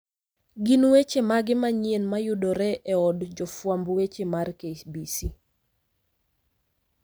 Gin weche mage manyien mayudore e od jofwamb weche mar KBC?